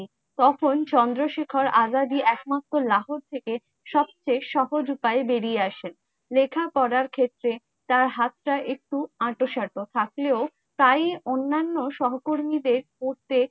তখন চন্দ্রশেখর আজাদই একমাত্র লাহোর থেকে সবচে সহজ উপায়ে বেরিয়ে আসে। লেখা পড়ার ক্ষেত্রে তার হাতটা একটু আটোসাঁটো থাকলেও তাই অন্যান্য সহকর্মীদের প্রত্যেক